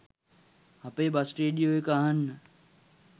අපේ bus radio එක අහන්න